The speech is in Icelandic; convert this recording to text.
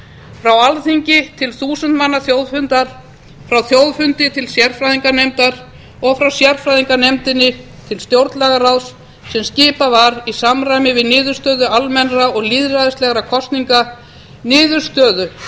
frá alþingi til þúsund manna þjóðfundar frá þjóðfundi til sérfræðinganefndar og frá sérfræðinganefndinni til stjórnlagaráðs sem skipað var í samræmi við niðurstöðu almennra og lýðræðislegra kosninga niðurstöðu